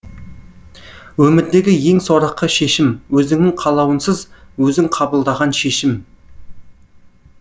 өмірдегі ең сорақы шешім өзіңнің қалауынсыз өзің қабылдаған шешім